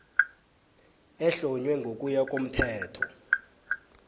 ehlonywe ngokuya komthetho